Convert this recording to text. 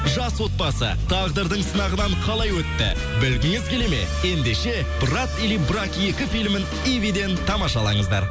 жас отбасы тағдырдың сынағынан қалай өтті білгіңіз келеді ме ендеше брат или брак екі филімін ивиден тамашалаңыздар